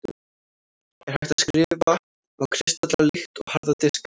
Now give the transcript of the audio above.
er hægt að „skrifa“ á kristalla líkt og harða diska